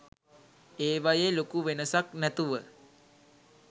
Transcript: ඒවයෙ ලොකු වෙනසක් නැතුව